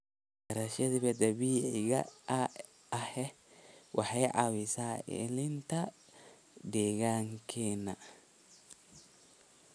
Beerashada dabiiciga ahi waxay caawisaa ilaalinta deegaankeena.